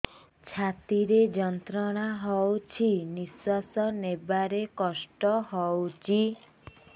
ଛାତି ରେ ଯନ୍ତ୍ରଣା ହଉଛି ନିଶ୍ୱାସ ନେବାରେ କଷ୍ଟ ହଉଛି